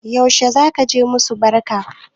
Yaushe zaka je musu barka?